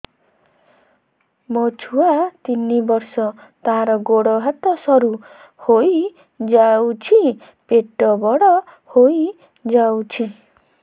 ମୋ ଛୁଆ ତିନି ବର୍ଷ ତାର ଗୋଡ ହାତ ସରୁ ହୋଇଯାଉଛି ପେଟ ବଡ ହୋଇ ଯାଉଛି